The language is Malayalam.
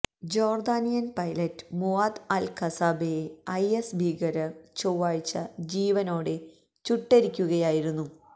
ജോര്ദാനിയന് പൈലറ്റ് മുവാത് അല് കസാസ്ബെയെ ഐഎസ് ഭീകരര് ചൊവ്വാഴ്ച ജീവനോടെ ചുട്ടെരിക്കുകയായിരുന്നു